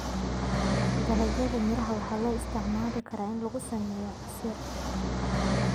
Dalagyada miraha waxaa loo isticmaali karaa in lagu sameeyo casiir.